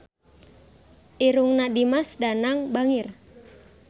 Irungna Dimas Danang bangir